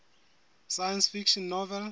science fiction novel